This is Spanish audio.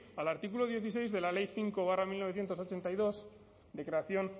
al artículo dieciséis de la ley cinco barra mil novecientos ochenta y dos de creación